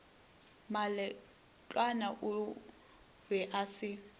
moletlwana o be a se